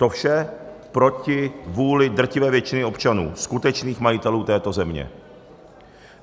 To vše proti vůli drtivé většiny občanů, skutečných majitelů této země.